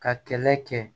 Ka kɛlɛ kɛ